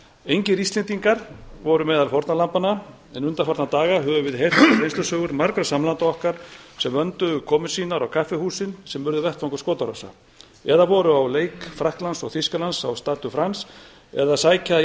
engir íslendingar voru meðal fórnarlambanna en undanfarna daga höfum við heyrt reynslusögur margra samlanda okkar sem vöndu komu sínar á kaffihúsin sem urðu vettvangur skotárása eða voru á leik frakklands og þýskalands á stade de france eða sækja